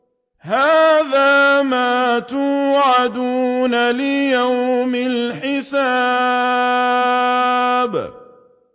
هَٰذَا مَا تُوعَدُونَ لِيَوْمِ الْحِسَابِ